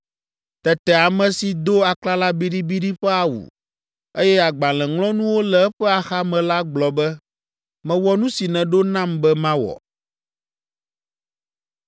Tete ame si do aklala biɖibiɖi ƒe awu, eye agbalẽŋlɔnuwo le eƒe axame la gblɔ be, “Mewɔ nu si nèɖo nam be mawɔ.”